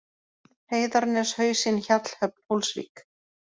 Heiðarnes, Hausinn, Hjallhöfn, Hólsvík